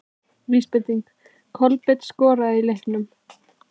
Vísbending: Kolbeinn skoraði í leiknum?